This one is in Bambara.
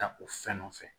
Ta o fɛn nɔfɛ